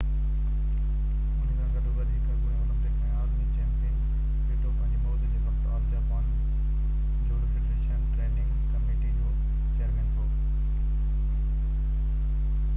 انهي سان گڏو گڏ هڪ اڳوڻي اولمپڪ ۽ عالمي چيمپيئن، سيٽو پنهنجي موت جي وقت all Japan judo federation training committee جو چيئرمين هو